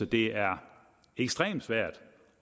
det er ekstremt svært